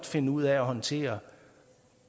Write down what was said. finde ud af at håndtere